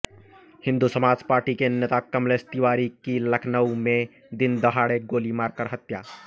Hindu Samaj party के नेता कमलेश तिवारी की लखनऊ में दिनदहाड़े गोली मारकर हत्या